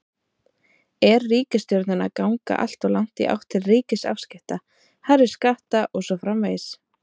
Er ríkisstjórnin að ganga alltof langt í átt til ríkisafskipta, hærri skatta og svo framvegis?